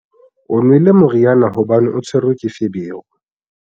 o nwele moriana hobane a tshwerwe ke feberu